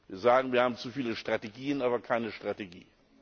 Wir sagen, wir haben zu viele Strategien, aber keine Strategie.